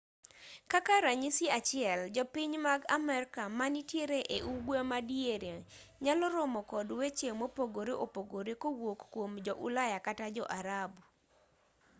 kaka ranyisi achiel jopiny mag amerka manitiere e ugwe ma diere nyalo romo kod weche mopogore opogore kowuok kuom jo-ulaya kata jo-arabu